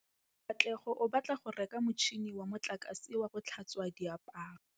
Katlego o batla go reka motšhine wa motlakase wa go tlhatswa diaparo.